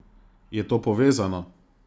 Je to povezano?